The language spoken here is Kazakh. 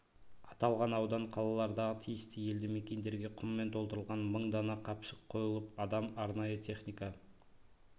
аталған аудан қалалардағы тиісті елді мекендерге құммен толтырылған мың дана қапшық қойылып адам арнайы техника